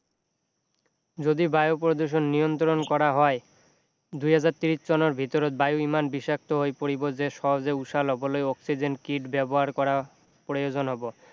যদি বায়ু প্ৰদূষণ নিয়ন্ত্ৰণ কৰা হয় দুই হাজাৰ ত্ৰিছ চনৰ ভিতৰত বায়ু ইমান বিষাক্ত হৈ পৰিব যে সহজে উশাহ লবলৈ অক্সিজেন kit ব্যৱহাৰ কৰা প্ৰয়োজন হব